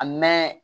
A mɛn